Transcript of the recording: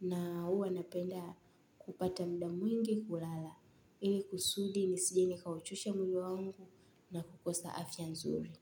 Na huwa napenda kupata muda mwingi kulala, ili kusudi nisije nikauchosha mwili wangu na kukosa afya nzuri.